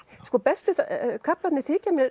bestu kaflarnir